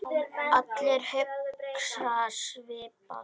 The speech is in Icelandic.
Allir hugsa svipað.